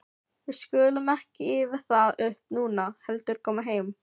Við skulum ekki ýfa það upp núna, heldur koma heim.